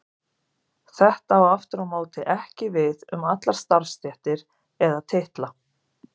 Þetta á aftur á móti ekki við um allar starfstéttir eða titla.